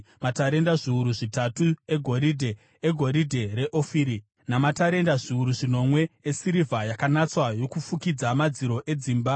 Matarenda zviuru zvitatu egoridhe (goridhe reOfiri) namatarenda zviuru zvinomwe esirivha yakanatswa yokufukidza madziro edzimba,